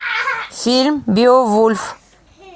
фильм беовульф